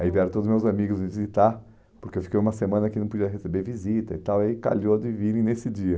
Aí vieram todos os meus amigos visitar, porque eu fiquei uma semana que não podia receber visita e tal, aí calhou de virem nesse dia.